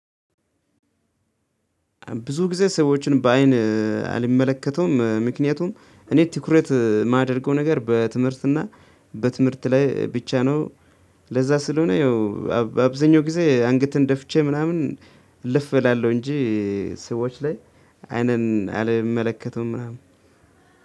ብዙ ጊዜ ሰዎችን በአይን አልመለከተውም ምክንያቱም እኔ ትኩረት ማደርገው ነገር በትምህርት እና በትምህርት ላይ ብቻ ነው። እንደዛ ስለሆነ ያው አብ አብዛኛው ጊዜ አንገቴን ደፍቼ ምናምን እልፍ እላለሁ እንጂ ሰዎች ላይ አይንን አልመለከትም ምናምን።